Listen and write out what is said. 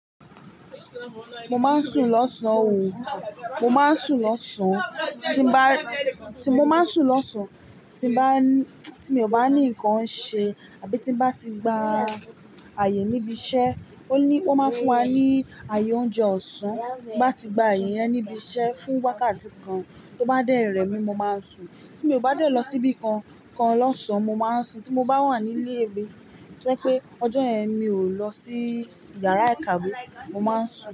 Mo máa ń sùn lọ́sàn o. Mo máa ń sùn lọ́sàn. Tí mo bá, tí mo máa ń sùn lọ́sàn tí bá ní, tí mi ò bá ní nǹkan ṣe àbí tí bá ti gba ààyè níbi iṣẹ́, ó ní, ó máa ń fún wa ní ààyè oúnjẹ ọ̀sán. Bí a bá ti gba aaye yẹn níbi iṣẹ́ fún wákàtí kan, tó bá dẹ́ rẹ̀mi, mo máa ń sùn. Tí mi ò bá dẹ̀ lọ síbí kan kan lọ́sàn, mo máa ń sùn. Tí mo bá wà ní ilé ebe, jẹ́ pé ọjọ́ yẹn mi ò lọ sí yàrá ìkàwé, mo máa ń sùn.